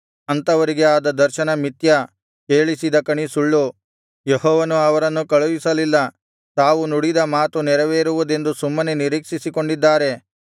ಅಂಥವರಿಗೆ ಆದ ದರ್ಶನ ಮಿಥ್ಯ ಕೇಳಿಸಿದ ಕಣಿ ಸುಳ್ಳು ಯೆಹೋವನು ಅವರನ್ನು ಕಳುಹಿಸಲಿಲ್ಲ ತಾವು ನುಡಿದ ಮಾತು ನೆರವೇರುವುದೆಂದು ಸುಮ್ಮನೆ ನಿರೀಕ್ಷಿಸಿಕೊಂಡಿದ್ದಾರೆ